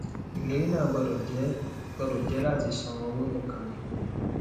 ìlérí náà gbọdọ jẹ gbọdọ jẹ láti san owó nìkan ni